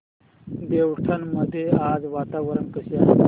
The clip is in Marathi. देवठाण मध्ये आज वातावरण कसे आहे